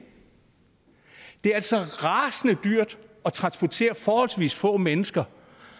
det er altså rasende dyrt at transportere forholdsvis få mennesker